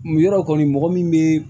Mu yɔrɔ kɔni mɔgɔ min bɛ